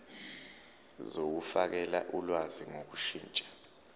zokufakela ulwazi ngokushintsha